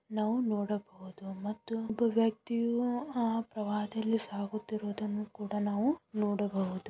ನಾವು ನೋಡುಬಹುದು ಮತ್ತು ಒಬ್ಬ ವ್ಯಕ್ತಿಯು ಆ ಪ್ರವಾಹದಲ್ಲಿ ಸಾಗುತ್ತಿರುವುದನ್ನು ಕೂಡ ನಾವು ನೋಡಬಹುದು --